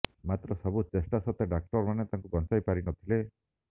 ମାତ୍ର ସବୁ ଚେଷ୍ଟା ସତ୍ତ୍ବେ ଡାକ୍ତରମାନେ ତାଙ୍କୁ ବଞ୍ଚାଇ ପାରି ନଥିଲେ